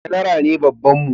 Janara ne babban mu